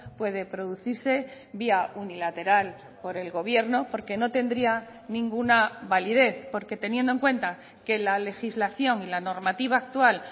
puede producirse vía unilateral por el gobierno porque no tendría ninguna validez porque teniendo en cuenta que la legislación y la normativa actual